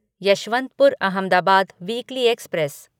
Yesvantpur Ahmedabad weekly express